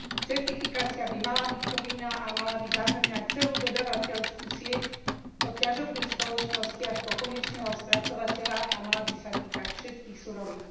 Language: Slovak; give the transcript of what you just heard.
Certifikácia by mala byť povinná a mala by zahŕňať celú dodávateľskú sieť od ťažobných spoločností až po konečného spracovateľa a mala by sa týkať všetkých surovín.